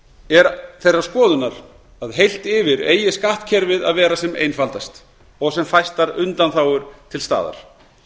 er þeirrar skoðunar að heilt yfir eigi skattkerfið eigi að vera sem einfaldast og sem fæstar undanþágur til staðar